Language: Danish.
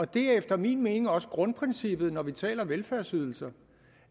det er efter min mening også grundprincippet når vi taler velfærdsydelser